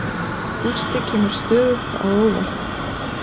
Gústi kemur stöðugt á óvart.